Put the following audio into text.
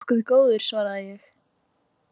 Nokkuð góður, svaraði ég.